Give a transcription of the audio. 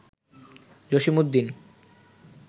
Jasimuddin